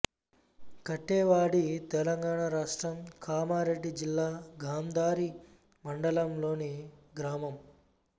కాటేవాడి తెలంగాణ రాష్ట్రం కామారెడ్డి జిల్లా గాంధారి మండలంలోని గ్రామం